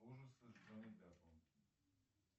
ужасы с джонни деппом